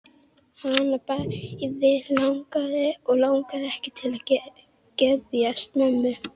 Hana bæði langar og langar ekki til að geðjast mömmu.